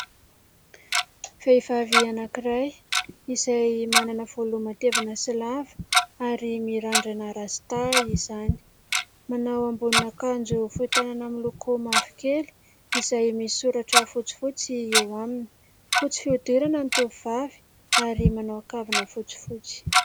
Vehivavy anankiray izay manana volo matevina sy lava ary mirandrana rasta izany manao ambonin'akanjo fohy tanana miloko mavo kely izay misoratra fotsifotsy eo aminy, fotsy fiodirana ny tovovavy ary manao kavina fotsifotsy.